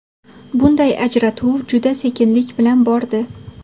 Bunday ajratuv juda sekinlik bilan bordi.